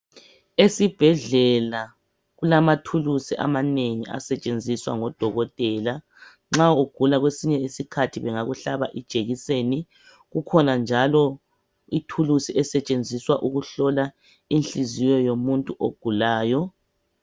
Esibhedlela kulamathulusi amanengi asetshenziswa ngodokotela. Nxa ugula kwesinye isikhathi bengakuhlaba ijekiseni, kukhona njalo ithulusi esetshenziswa ukuhlola inhliziyo yomuntu ogulayo.